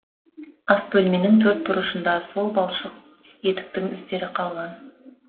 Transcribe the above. ас бөлменің төрт бұрышында сол балшық етіктің іздері қалған